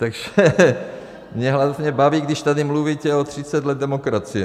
Takže mě vlastně baví, když tady mluvíte o 30 letech demokracie.